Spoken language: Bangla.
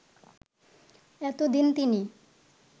এতদিন তিনি